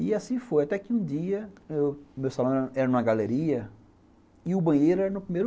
E assim foi, até que um dia, o meu salão era era numa galeria e o banheiro era no primeiro